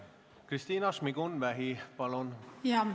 Kristina Šmigun-Vähi, palun!